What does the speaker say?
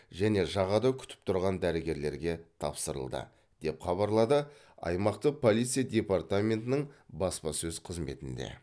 және жағада күтіп тұрған дәрігерлерге тапсырылды деп хабарлады аймақтың полиция департаментінің баспасөз қызметінде